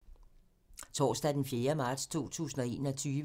Torsdag d. 4. marts 2021